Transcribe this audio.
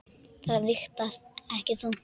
Það vigtar ekki þungt.